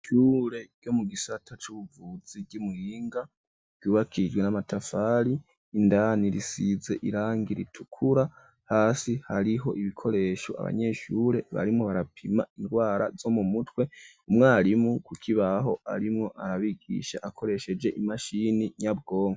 Ishure ryo mu gisata c'ubuvuzi ry’imuhinga ryubakijwe n'amatafari indani risize irangi ritukura hasi hariho ibikoresho abanyeshure barimo barapima indwara zo mu mutwe umwarimu ku kibaho arimwo arabigisha akoresheje imashini nyabwongo.